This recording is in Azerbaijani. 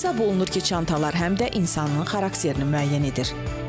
Hesab olunur ki, çantalar həm də insanın xarakterini müəyyən edir.